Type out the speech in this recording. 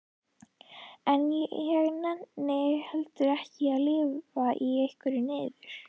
En ég nenni heldur ekki að lifa í einhverri niður